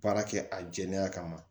Baara kɛ a jɛlenya kama